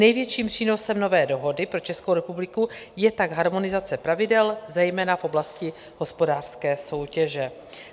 Největším přínosem nové dohody pro Českou republiku je tak harmonizace pravidel zejména v oblasti hospodářské soutěže.